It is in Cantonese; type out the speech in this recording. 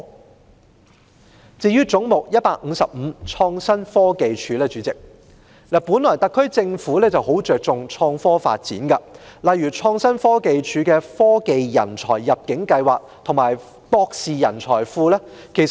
代理主席，至於"總目 155― 創新科技署"，特區政府很重視創科發展，相繼推出如創新科技署轄下的科技人才入境計劃和博士專才庫等計劃。